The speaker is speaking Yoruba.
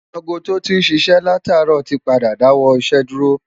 aago tó tí ń ṣiṣẹ́ látàárọ̀ ti padà dáwọ́ iṣẹ́ dúró